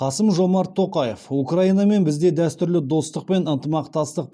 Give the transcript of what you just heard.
қасым жомарт тоқаев украинамен бізде дәстүрлі достық пен